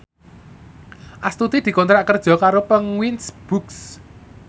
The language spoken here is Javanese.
Astuti dikontrak kerja karo Penguins Books